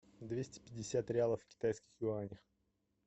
двести пятьдесят реалов в китайских юанях